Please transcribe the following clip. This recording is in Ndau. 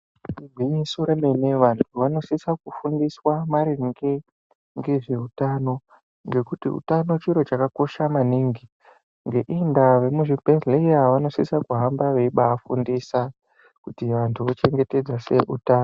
Gwinyiso remene, vantu vanosisa kufundiswa maringe ngezveutano ngekuti utano chiro chakakosha maningi. Ngeiyi ndaa vemuzvibhedhleya vanosisa kuhamba veibafundisa kuti vantu vochengetedza sei utano.